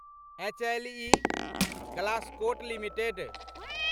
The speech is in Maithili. HLE Glascoat limited